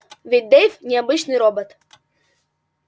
ведь дейв не обычный робот